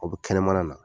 O bɛ kɛnɛmana na